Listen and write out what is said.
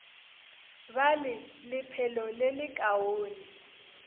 ba le lephelo le lekaone